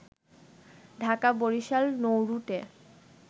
Dhaka-Barishal নৌরুটে